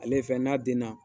Ale ye fɛn ye n'a den na.